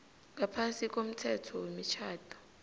ngaphasi komthetho wemitjhado